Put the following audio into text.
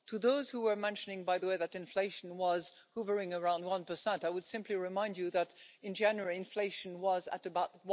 To those who were mentioning, by the way, that inflation was hovering around 1, I would simply remind you that in January inflation was at about